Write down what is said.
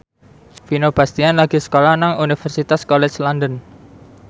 Vino Bastian lagi sekolah nang Universitas College London